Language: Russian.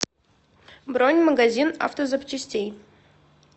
бронь магазин автозапчастей